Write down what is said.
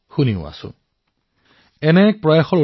সেইদৰে আৱৰ্জনাক মূল্যলৈ ৰূপান্তৰ কৰাৰো কাম কৰা হৈছে